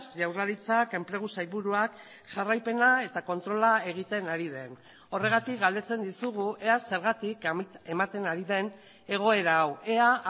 jaurlaritzak enplegu sailburuak jarraipena eta kontrola egiten ari den horregatik galdetzen dizugu ea zergatik ematen ari den egoera hau ea